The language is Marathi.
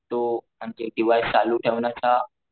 तो डिव्हाइस चालू ठेवण्याचा